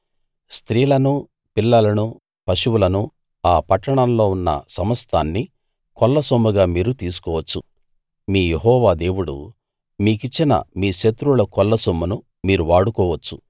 స్త్రీలనూ పిల్లలనూ పశువులనూ ఆ పట్టణంలో ఉన్న సమస్తాన్నీ కొల్లసొమ్ముగా మీరు తీసుకోవచ్చు మీ యెహోవా దేవుడు మీకిచ్చిన మీ శత్రువుల కొల్లసొమ్మును మీరు వాడుకోవచ్చు